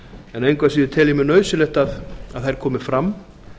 en engu að síður tel ég mjög nauðsynlegt að þær komi fram